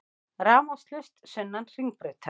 Rafmagnslaust sunnan Hringbrautar